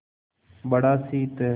बड़ा शीत है